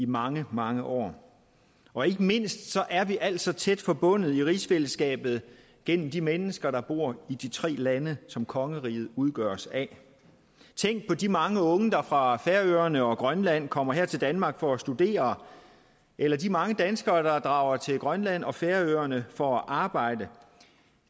mange mange år og ikke mindst er vi altså tæt forbundet i rigsfællesskabet gennem de mennesker der bor i de tre lande som kongeriget udgøres af tænk på de mange unge der fra færøerne og grønland kommer her til danmark for at studere eller de mange danskere der drager til grønland og færøerne for at arbejde